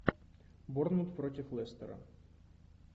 борнмут против лестера